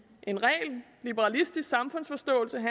en ren liberalistisk samfundsforståelse